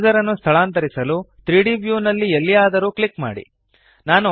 3ದ್ ಕರ್ಸರ್ ನ್ನು ಸ್ಥಳಾಂತರಿಸಲು 3ದ್ ವ್ಯೂನಲ್ಲಿ ಎಲ್ಲಿಯಾದರೂ ಕ್ಲಿಕ್ ಮಾಡಿ